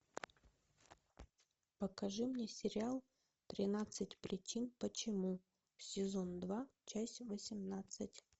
покажи мне сериал тринадцать причин почему сезон два часть восемнадцать